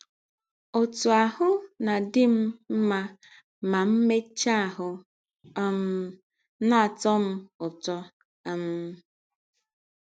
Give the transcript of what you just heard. “ Ọtụ ahụ́ na - adị m ma m megachaa ahụ́ um na - atọ m ụtọ. um